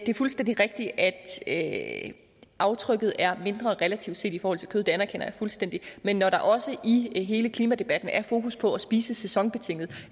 er fuldstændig rigtigt at aftrykket relativt set i forhold til kød det anerkender jeg fuldstændigt men når der også i i hele klimadebatten er fokus på at spise sæsonbetinget